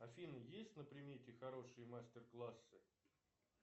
афина есть на примете хорошие мастер классы